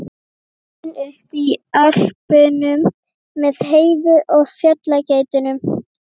Alinn upp í Ölpunum með Heiðu og fjallageitunum?